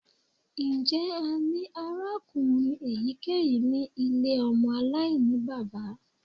Njẹ a ni arakunrin eyikeyi ni ile ọmọ alainibaba?